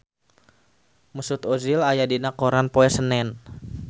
Mesut Ozil aya dina koran poe Senen